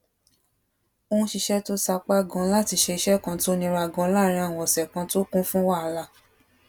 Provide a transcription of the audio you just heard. ń ṣiṣé tó sapá ganan láti ṣe iṣé kan tó nira ganan láàárín òsè kan tó kún fún wàhálà